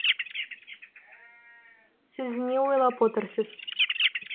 сіз не ойлап отырсыз